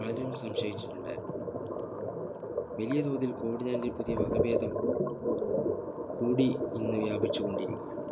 പലരും സംശയിച്ചിട്ടുണ്ടാരുന്നു വലിയ തോതിൽ COVID-19 പുതിയ വകഭേദം കൂടി ഇന്ന് വ്യാപിച്ചു കൊണ്ടിരിക്കയാണ്